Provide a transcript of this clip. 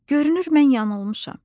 Görünür mən yanılmışam.